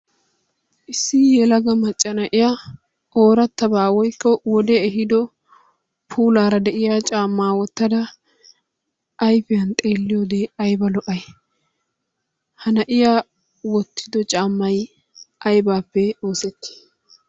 Issi yelaga macca na'iya ooratabaa woykko wodee ehiido puulaara de'iya caamaa wotada ayfiyan xeelliyoode ayba lo'ay? Ha na'iya wotido caamay aybaape oosetii?